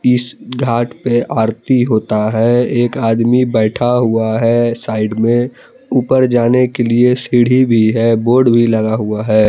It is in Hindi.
इस घाट पे आरती होता है एक आदमी बैठा हुआ है साइड में ऊपर जाने के लिए सीढ़ी भी है बोर्ड भी लगा हुआ है।